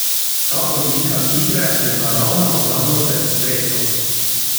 Ta oblika igre je naravna obramba pred stresom.